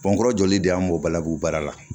Bɔnkɔrɔ jɔlen de y'an b'o balabu baara la